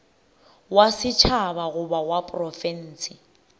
wa setšhaba goba wa profense